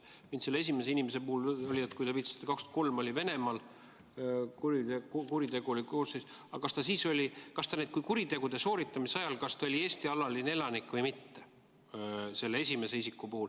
Mind selle esimese inimese puhul huvitab, et kui, nagu te viitasite, 2003 oli tal Venemaal kuriteokoosseis, siis kas ta kuritegude sooritamise ajal oli Eesti alaline elanik või mitte, see esimene isik.